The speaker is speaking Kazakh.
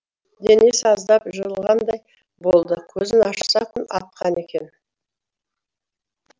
денесі аздап жылығандай болды көзін ашса күн атқан екен